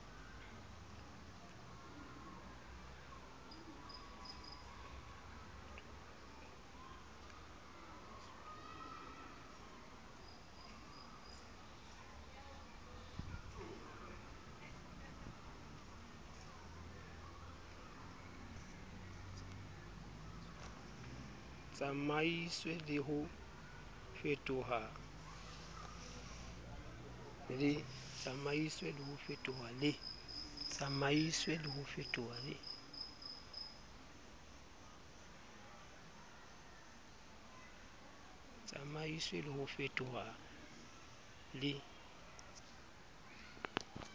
tsamaiswe le ho fetoha le